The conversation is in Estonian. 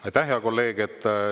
Aitäh, hea kolleeg!